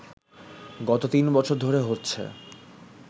গত তিন বছর ধরে হচ্ছে